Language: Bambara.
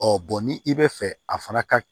ni i bɛ fɛ a fana ka